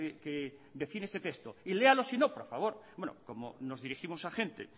que defiende este texto y léalo sino por favor bueno como nos dirigimos a gente